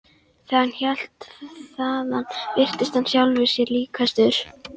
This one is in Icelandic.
Þegar hann hélt þaðan virtist hann sjálfum sér líkastur.